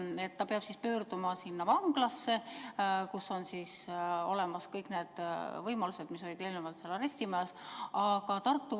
Kas kannatanu peab pöörduma vanglasse, kus on olemas kõik need võimalused, mis on seni olnud arestimajas?